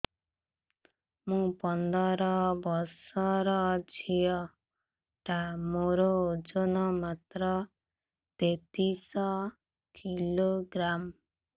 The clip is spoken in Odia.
ମୁ ପନ୍ଦର ବର୍ଷ ର ଝିଅ ଟା ମୋର ଓଜନ ମାତ୍ର ତେତିଶ କିଲୋଗ୍ରାମ